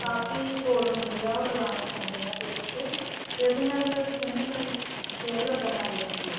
ਕਾਫ਼ੀ code ਹੁੰਦੇ ਏ ਉਹ ਲਗਾਨੇ ਪੈਂਦੇ ਏ face ਤੇ ਤੇ ਉਹਦੇ ਨਾਲ skin fair ਲੱਗਣ ਜਾਂਦੀ ਏ